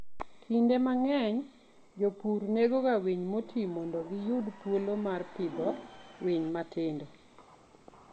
Kinde mang'eny jopur negoga winy moti mondo giyud thuolo mar pidho winy matindo.